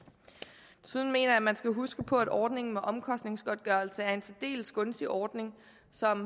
desuden mener jeg man skal huske på at ordningen med omkostningsgodtgørelse er en særdeles gunstig ordning som